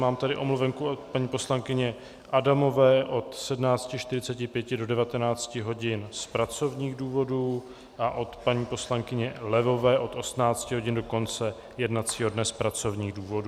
Mám tady omluvenku od paní poslankyně Adamové od 17.45 do 19 hodin z pracovních důvodů a od paní poslankyně Levové od 18 hodin do konce jednacího dne z pracovních důvodů.